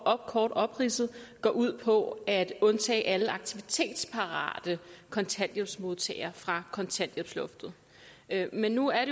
kort opridset går ud på at undtage alle aktivitetsparate kontanthjælpsmodtagere fra kontanthjælpsloftet men nu er